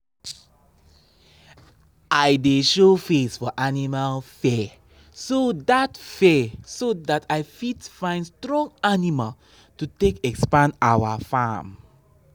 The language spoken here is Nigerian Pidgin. adding new animal mean say we go say we go adjust the feeding plan and need more workers for morning shift